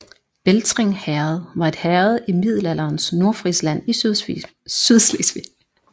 Beltring Herred var et herred i middelalderens Nordfrisland i Sydslesvig